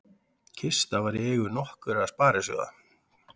Kista var í eigu nokkurra sparisjóða